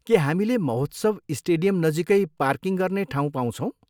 के हामीले महोत्सव स्टेडियम नजिकै पार्किङ गर्ने ठाउँ पाउँछौँ?